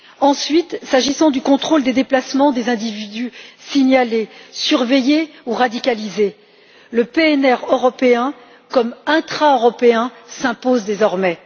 Ensuite, s'agissant du contrôle des déplacements des individus signalés, surveillés ou radicalisés, le PNR européen comme intra européen s'impose désormais.